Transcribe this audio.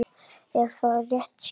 Er það rétt skilið?